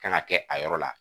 Kana kɛ a yɔrɔ la